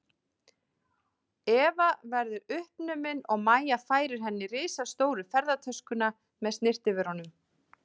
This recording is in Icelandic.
Eva verðu uppnumin og Mæja færir henni risastóru ferðatöskuna með snyrtivörunum.